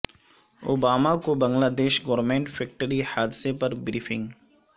Obama کو Bangladesh garment factory حادثے پر بریفنگ